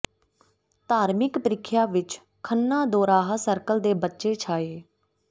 ਧਾਰਮਿਕ ਪ੍ਰੀਖਿਆ ਵਿੱਚ ਖੰਨਾ ਦੋਰਾਹਾ ਸਰਕਲ ਦੇ ਬੱਚੇ ਛਾਏ